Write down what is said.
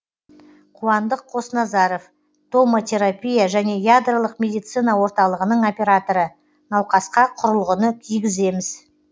қуандық қосназаров томотерапия және ядролық медицина орталығының операторы науқасқа құрылғыны кигіземіз